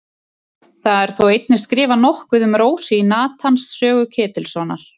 Það er þó einnig skrifað nokkuð um Rósu í Natans sögu Ketilssonar.